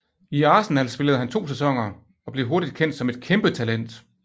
I Arsenal spillede han to sæsoner og blev hurtigt kendt som et kæmpetalent